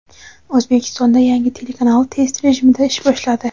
O‘zbekistonda yangi telekanal test rejimida ish boshladi.